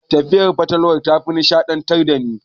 Tatsuniyar fatalwa tafi nishaɗantar dani.